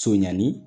Sonɲani